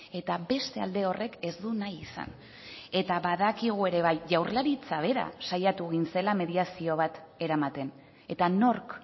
eta beste alde horrek ez du nahi izan eta badakigu ere bai jaurlaritza bera saiatu egin zela mediazio bat eramaten eta nork